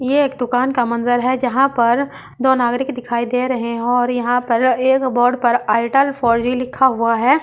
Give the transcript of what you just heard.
ये एक दुकान का मंजर है जहां पर दो नागरिक दिखाई दे रहे हैं और यहां पर एक बोर्ड पर एयरटेल फोर जी लिखा हुआ है।